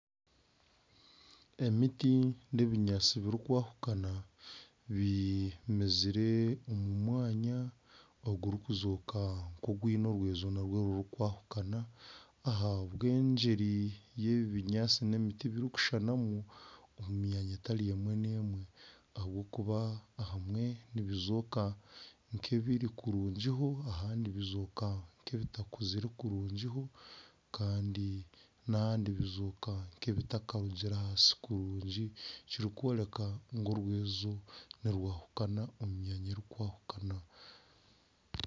Emiti na ebinyaantsi birikwahukana bimezire omu mwanya ogurikuzoka nka ogwine orwezo rurikwahukana ahabwa enjeri yebi ebinyaantsi n'emiti birikushushanamu omumyanya etari emwe n'emwe ahabwokuba ahamwe nibizooka nk'ebiri kurungi ahamwe nibizooka nk'ebitakuzire kurungi kandi n'ahandi bizooka nk'ebitakarugire ahansi kurungi ekirikworeka ngu orwezo nirwahukana omu myanya erikwahukana.